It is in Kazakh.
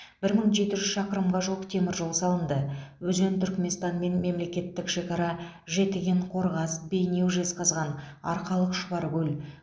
бір мың жеті жүз шақырымға жуық теміржол салынды өзен түрікменстанмен мемлекеттік шекара жетіген қорғас бейнеу жезқазған арқалық шұбаркөл